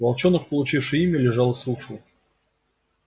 волчонок получивший имя лежал и слушал